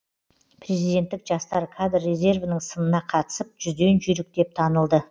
президенттік жастар кадр резервінің сынына қатысып жүзден жүйрік деп танылды